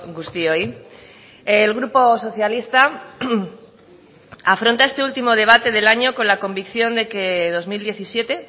guztioi el grupo socialista afronta este último debate del año con la convicción de que dos mil diecisiete